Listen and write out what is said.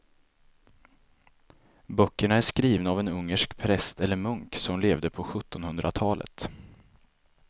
Böckerna är skrivna av en ungersk präst eller munk som levde på sjuttonhundratalet.